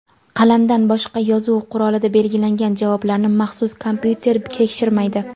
Qalamdan boshqa yozuv qurolida belgilangan javoblarni maxsus kompyuter tekshirmaydi.